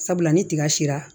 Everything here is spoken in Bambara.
Sabula ni tiga sera